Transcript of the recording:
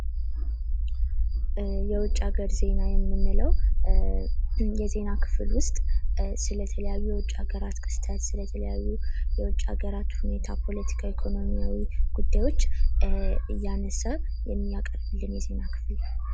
የውጭ ሀገር ዜና የሚንለው የዜና ክፍል ውስጥ ስለተለያዩ የውጭ ሀገራት ክስተት ፣ ስለ ተለያዩ የውጭ ሀገራት ሁኔታ ፣ ፖለቲካ ፣ ኢኮኖሚያዊ ጉዳዮች እያነሳ የሚያቀርብልን የዜና ክፍል ነው ።